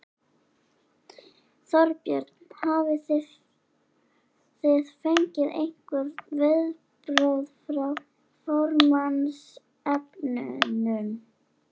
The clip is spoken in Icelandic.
Þorbjörn: Hafið þið fengið einhver viðbrögð hjá formannsefnunum?